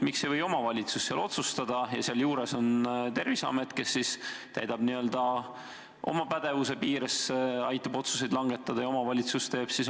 Miks ei võiks omavalitsus otsustada ja Terviseamet aidata tal oma pädevuse piires neid otsuseid langetada?